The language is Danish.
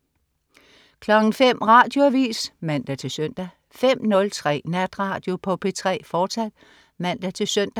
05.00 Radioavis (man-søn) 05.03 Natradio på P3, fortsat (man-søn)